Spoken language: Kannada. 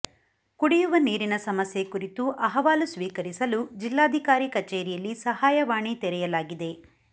ಕುಡಿಯುವ ನೀರಿನ ಸಮಸ್ಯೆ ಕುರಿತು ಅಹವಾಲು ಸ್ವೀಕರಿಸಲು ಜಿಲ್ಲಾಧಿಕಾರಿ ಕಚೇರಿಯಲ್ಲಿ ಸಹಾಯವಾಣಿ ತೆರೆಯಲಾಗಿದೆ